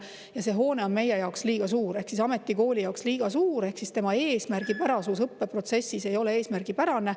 Ja see hoone on meie jaoks liiga suur, ametikooli jaoks liiga suur, ehk õppeprotsessis ei ole eesmärgipärane.